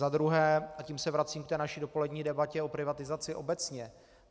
Za druhé, a tím se vracím k té naší dopolední debatě o privatizaci obecně.